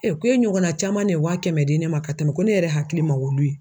k'e ɲɔgɔnna caman de ye wa kɛmɛ di ne ma ka tɛmɛ ko ne yɛrɛ hakili ma olu ye.